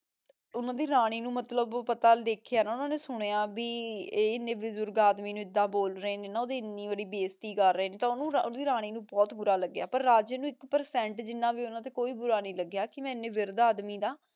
ਓਨਾਨਾ ਦੀ ਰਾਨੀ ਨੂ ਮਤਲਬ ਪਤਾ ਦੇਖ੍ਯਾ ਓਨਾਂ ਨੇ ਸੁਨ੍ਯ ਭੀ ਆਯ ਨੇ ਬਜੁਰਗ ਆਦਮੀ ਨੂ ਏਦਾਂ ਬੋਲ ਰਹੀ ਨੇ ਨਾ ਏਨੀ ਓੜੀ ਬਾਜ੍ਜ੍ਤੀ ਕਰ ਰਹੀ ਨੇ ਤਾਂ ਓਨੁ ਰਾਨੀ ਨੂ ਬੋਹਤ ਬੁਰਾ ਲਾਗ੍ਯ ਪਰ ਰਾਜੇ ਏਕ ਪੇਰ੍ਚੇੰਟ ਜਿਨਾ ਵੀ ਕੋਈ ਬੁਰਾ ਨਹੀ ਲਾਗ੍ਯ ਕੇ ਮੈਂ ਏਨੇ ਵਿਰ੍ਧ ਆਦਮੀ ਦਾ